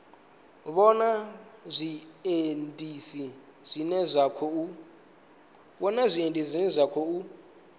vhona zwiendisi zwine zwa khou